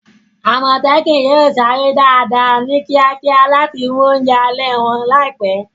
Àmọ̀tẹ́kùn yóò sáré dáadáa, ní kíákíá láti mú oúnjẹ alẹ́ wọn láìpẹ́.